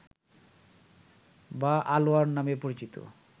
বা আলোয়ার নামে পরিচিত